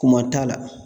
Kun man t'a la